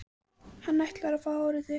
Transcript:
Hann ætlar að fá hárið þitt.